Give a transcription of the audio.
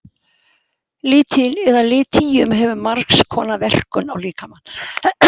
Litín eða litíum hefur margs konar verkun á líkamann.